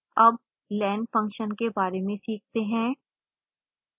अब len function के बारे में सीखते हैं